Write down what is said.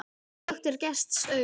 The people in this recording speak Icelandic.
En glöggt er gests augað.